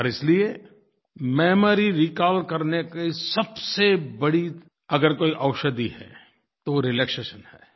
और इसलिये memory recall करने की सबसे बड़ी अगर कोई औषधि है तो वो रिलैक्सेशन है